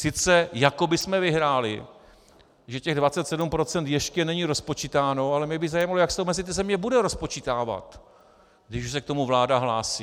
Sice jako bychom vyhráli, že těch 27 % ještě není rozpočítáno, ale mě by zajímalo, jak se to mezi ty země bude rozpočítávat, když už se k tomu vláda hlásí.